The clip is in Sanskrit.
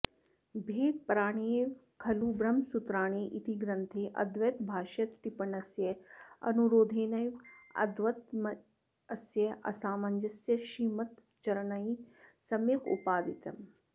भेदपराण्येव खलु ब्रह्मसूत्राणि इति ग्रन्थे अद्वैतभाष्यतट्टिप्पण्यनुरोधेनैव अद्वैतमतस्य असामञ्जस्यं श्रीमच्चरणैः सम्यगुपपादितम्